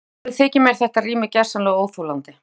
Alveg þykir mér þetta rými gersamlega óþolandi.